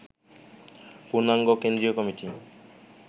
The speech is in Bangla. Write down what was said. পূর্ণাঙ্গ কেন্দ্রীয় কমিটি